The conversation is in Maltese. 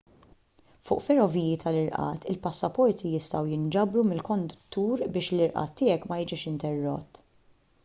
fuq ferroviji tal-irqad il-passaporti jistgħu jinġabru mill-konduttur biex l-irqad tiegħek ma jiġix interrott